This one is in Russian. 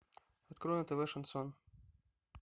открой на тв шансон